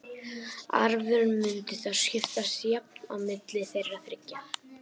Arfurinn mundi þá skiptast jafnt á milli þeirra þriggja.